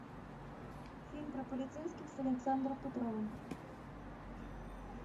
фильм про полицейских с александром петровым